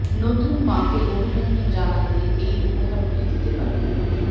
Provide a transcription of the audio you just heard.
নতুন মা কে অভিনন্দন জানাতে এই উপহারগুলি দিতে পারেন